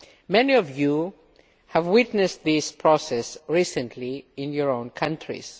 Many of you have witnessed this process recently in your own countries.